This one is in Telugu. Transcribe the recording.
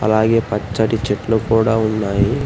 అలాగే పచ్చటి చెట్లు కూడా ఉన్నాయి.